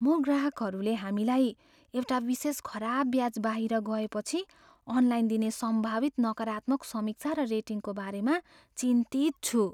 म ग्राहकहरूले हामीलाई एउटा विशेष खराब ब्याच बाहिर गए पछि अनलाइन दिने सम्भावित नकारात्मक समीक्षा र रेटिङको बारेमा चिन्तित छु।